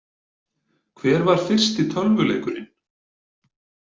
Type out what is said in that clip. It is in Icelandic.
Hver var fyrsti tölvuleikurinn?